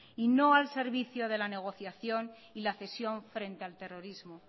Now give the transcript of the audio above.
y no al servicio de la negociación y la cesión frente al terrorismo